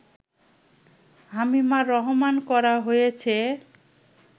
হামিমা রহমান করা হয়েছে